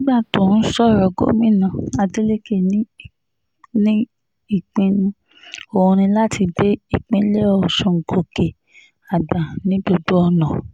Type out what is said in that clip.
nígbà tó ń sọ̀rọ̀ gómìnà adeleke ní ìpinnu òun ní láti gbé ìpínlẹ̀ ọ̀ṣun gòkè àgbà ní gbogbo ọ̀nà